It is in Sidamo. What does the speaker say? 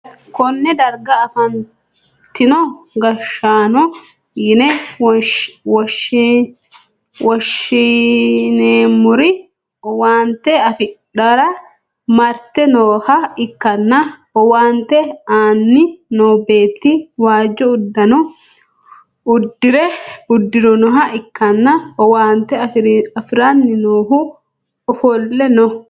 konne darga afantino gashshaano yine woshhsineemmori owaante afidhara marte nooha ikkanna, owaante aanni noo beetti waajjo uddano uddirinoha ikkanna, owaante afi'ranni noohuno ofolle no.